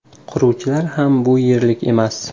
Quruvchilar ham bu yerlik emas.